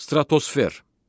Stratosfer.